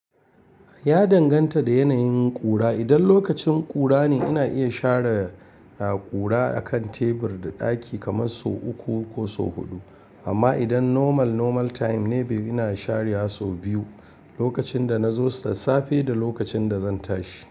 Ya danganta da yanayin ƙura. Idan lokacin ƙura ne, ina iya share, ah, ƙura akan tebur da ɗaki kamar sau uku ko sau huɗu. Amma idan normal, normal time ne, be-- ina share sau biyu. Lokacin da na zo safe da lokacin da zan tashi.